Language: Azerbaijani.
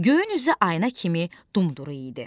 Göyün üzü ayına kimi dumduru idi.